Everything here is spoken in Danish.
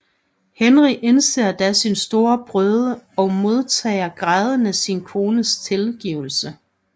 Henry indser da sin store brøde og modtager grædende sin kones tilgivelse